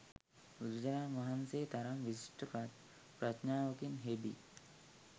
බුදුරජාණන් වහන්සේගේ තරම් විශිෂ්ට ප්‍රඥාවකින් හෙබි